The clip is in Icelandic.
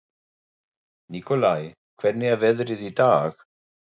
Nikolai, hvernig er veðrið í dag?